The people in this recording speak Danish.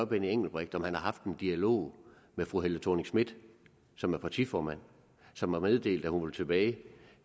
benny engelbrecht om han har haft en dialog med fru helle thorning schmidt som er partiformand og som har meddelt at hun vil tilbage